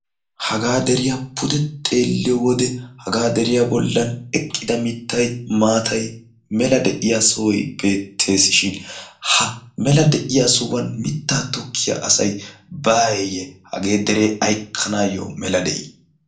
hagaa deriya pude xeeliyo wode hagaa deriya bolan maatay mittay mela de'iya sohoy beetesishin ha mela de'iya sohuwan mitaa tokkiya asi bawe hagee deree ayssi mela de'ii?